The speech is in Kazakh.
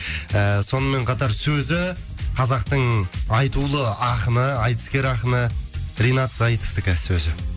ыыы сонымен қатар сөзі қазақтың айтулы ақыны айтыскер ақыны ринат зайытовтікі сөзі